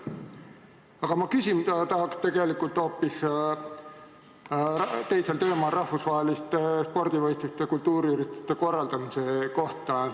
Aga küsida tahan ma hoopis teisel teemal, rahvusvaheliste spordivõistluste ja kultuuriürituste korraldamise kohta.